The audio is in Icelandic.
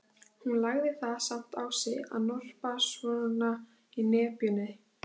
Hún lagði það samt á sig að norpa svona í nepjunni.